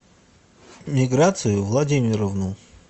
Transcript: миграцию владимировну